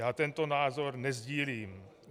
Já tento názor nesdílím.